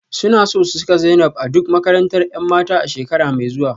Suna so su saka Zainab a duk makarantar 'yan mata a shekara mai zuwa